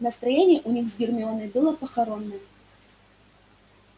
настроение у них с гермионой было похоронное